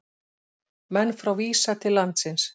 Menn frá Visa til landsins